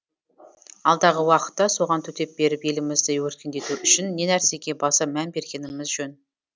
алдағы уақытта соған төтеп беріп елімізді өркендету үшін не нәрсеге баса мән бергеніміз жөн